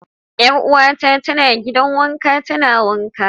Yar'uwata tana gidan wanka tana wanka.